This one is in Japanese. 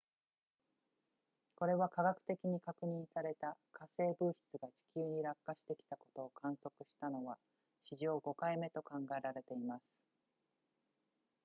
これは化学的に確認された火星物質が地球に落下してきたことを観測したのは史上5回目と考えられています